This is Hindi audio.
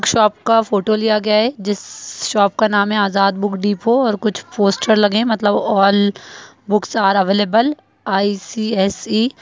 शॉप का फोटो लिया गया हैं जिस शॉप का नाम हैं आजाद बुक डेपोट और कुछ पोस्टर लगे हुए हैं। मतलब all books are available ICSE --